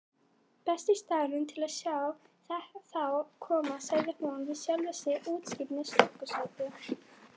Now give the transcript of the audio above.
Besti staðurinn til að sjá þá koma, sagði hún við sjálfa sig, útsýni úr stúkusæti.